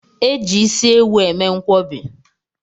E ji isi ewu eme nkwọbi